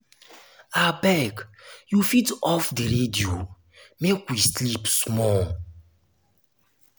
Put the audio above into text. abeg you fit off di radio make we sleep small.